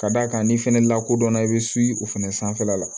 Ka d'a kan n'i fɛnɛ lakodɔnna i bɛ o fɛnɛ sanfɛla la